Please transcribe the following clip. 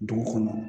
Dugu kɔnɔ